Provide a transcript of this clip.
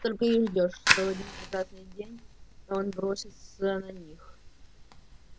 только и ждёшь что в один прекрасный день он бросится на них